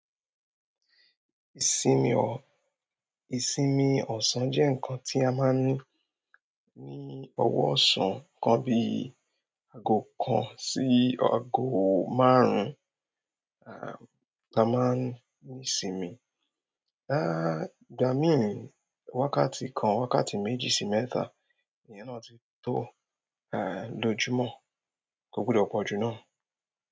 Ìsinmi ọ̀-- ìsinmi ọ̀sán jẹ́ ǹkan tí a máa ń ní ní ọwọ ọ̀sán kan bíi ago kan sí ago márùn-ún, à, ta máa ń ní ìsinmi. Ehn, ìgbà mi ni, wákàtí kan, wákàtí méjì sí mẹ́ta, èyí náà ti tó, ehn, lójúmọ́, kò gbudò pọ jù náà.